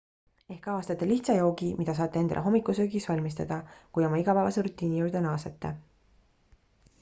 ehk avastate lihtsa joogi mida saate endale hommikusöögiks valmistada kui oma igapäevase rutiini juurde naasete